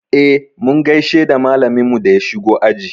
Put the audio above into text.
E, mun gaishe da malaminmu da ya shigo aji.